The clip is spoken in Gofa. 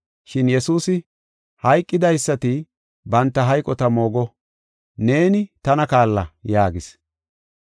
Shin Yesuusi, “Hayqidaysati banta hayqota moogo; neeni tana kaalla” yaagis.